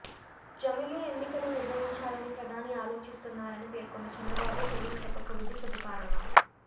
జమిలి ఎన్నికలు నిర్వహించాలని ప్రధాని ఆలోచిస్తున్నారని పేర్కొన్న చంద్రబాబు ప్రజలు తప్పక బుద్ధి చెబుతారన్నారు